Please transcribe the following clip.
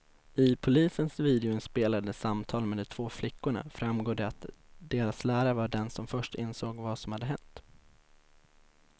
I polisens videoinspelade samtal med de två flickorna framgår det att deras lärare var den som först insåg vad som hänt.